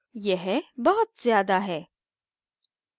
यह बहुत ज्यादा है